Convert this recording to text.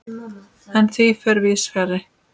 En því fer víðs fjarri.